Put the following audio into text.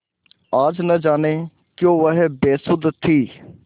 आज न जाने क्यों वह बेसुध थी